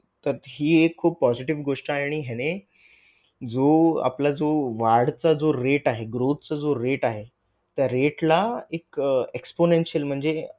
तर हि एक खूप positive गोष्ट आहे आणि ह्याने जो आपला जो वाढ चा जो rate आहे growth चा जो rate आहे त्या rate ला एक exponential म्हणजे